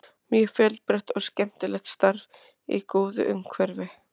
Mjög fjölbreytt og skemmtilegt starf í góðu umhverfi.